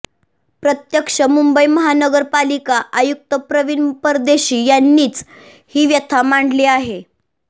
प्रत्यक्ष मुंबई महानगरपालिका आयुक्त प्रवीण परदेशी यांनीच ही व्यथा मांडली आहे